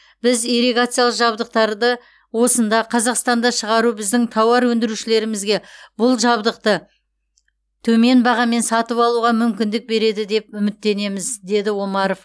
біз ирригациялық жабдықтарды осында қазақстанда шығару біздің тауар өндірушілерімізге бұл жабдықты төмен бағамен сатып алуға мүмкіндік береді деп үміттенеміз деді омаров